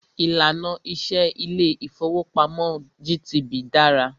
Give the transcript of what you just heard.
Ìlànà iṣẹ ilé ìfọwọ́pamo GTB dára.